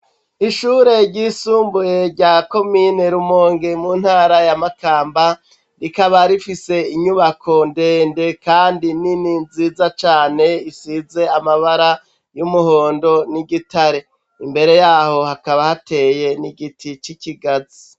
Ishure ry'isumbuye rya komine rumongi mu ntara ya makamba rikaba rifise inyubako ndende kandi nini nziza cane isize amabara y'umuhondo n'igitare imbere yaho hakaba hateye n'igiti c'ikigazi.